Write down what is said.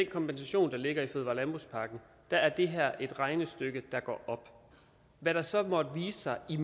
kompensation der ligger i fødevare og landbrugspakken er det her et regnestykke der går op hvad der så måtte vise sig i